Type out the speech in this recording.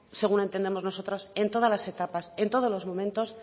según entendemos nosotros en todas las etapas en todos los momentos